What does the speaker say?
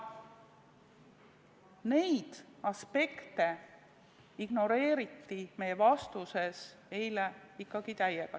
Neid aspekte ignoreeriti meile vastuseid andes ikkagi täiega.